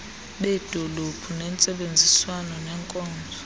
beedolophu ngentsebenziswano nenkonzo